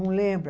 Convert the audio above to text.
Não lembra?